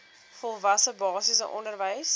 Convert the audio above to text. volwasse basiese onderwys